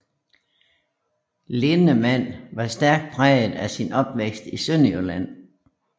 Linnemann var stærk præget af sin opvækst i Sønderjylland